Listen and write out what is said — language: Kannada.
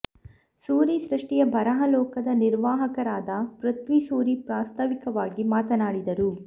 ಸೂರಿ ಸೃಷ್ಟಿಯ ಬರಹ ಲೋಕದ ನಿರ್ವಾಹಕರಾದ ಪೃಥ್ವಿ ಸೂರಿ ಪ್ರಾಸ್ತಾವಿಕವಾಗಿ ಮಾತನಾಡಿದರು